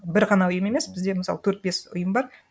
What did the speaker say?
бір ғана ұйым емес бізде мысалы төрт бес ұйым бар